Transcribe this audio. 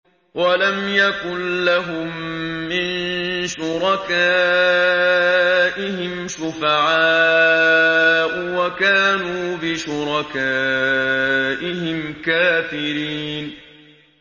وَلَمْ يَكُن لَّهُم مِّن شُرَكَائِهِمْ شُفَعَاءُ وَكَانُوا بِشُرَكَائِهِمْ كَافِرِينَ